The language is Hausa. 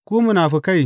Ku munafukai!